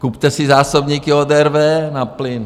Kupte si zásobníky od RWE na plyn.